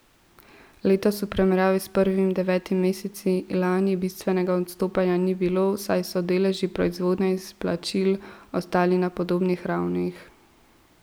Letos v primerjavi s prvimi devetimi meseci lani bistvenega odstopanja ni bilo, saj so deleži proizvodnje in izplačil ostali na podobnih ravneh.